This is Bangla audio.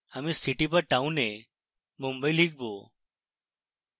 আমি city/town এ mumbai লিখব